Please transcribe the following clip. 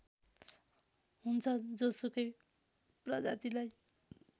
हुन्छ जोसुकै प्रजातिलाई